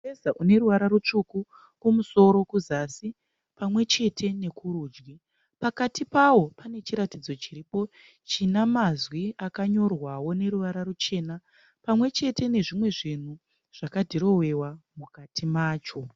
Mureza une ruvara rutsvuku kumusoro kuzasi pamwechete nekurudyi pakati pawo pane chiratidzo chiripo china mazwi akanyorwawo neruvara ruchena pamwechete nezvimwe zvinhu zvakadhirowewa mukati macho.